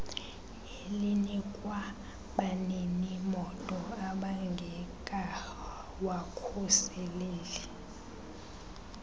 elinikwa baninimoto ababngekawavuseleli